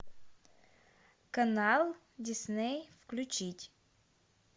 канал дисней включить